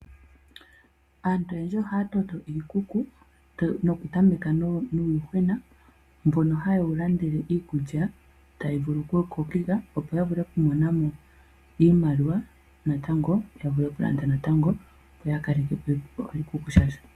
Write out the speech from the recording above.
Aantu oyendji ohaya toto iikuku nokutameka nuuyuhwena, mbono haye wu landele iikulya tayi vulu ku wu kokeka opo ya mone mo iimaliwa natango ya vule okulanda natango opo ya kaleke po oshikuku shoondjuhwa.